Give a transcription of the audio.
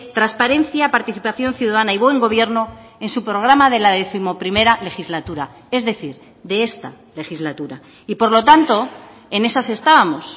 transparencia participación ciudadana y buen gobierno en su programa de la décimoprimera legislatura es decir de esta legislatura y por lo tanto en esas estábamos